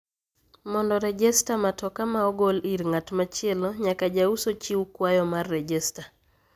Mondo rejesta matoka ma ogol ir ng'at machielo nyaka jauso chiw kwayo mar rejesta